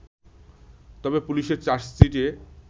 তবে পুলিশের চার্জশিটে